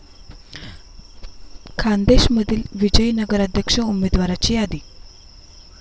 खान्देशमधील विजयी नगराध्यक्ष उमदेवाराची यादी